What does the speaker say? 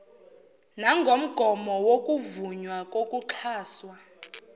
nangomgomo wokuvunywa kokuxhaswa